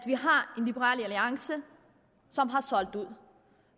liberal alliance som har solgt ud og